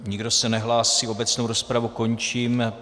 Nikdo se nehlásí, obecnou rozpravu končím.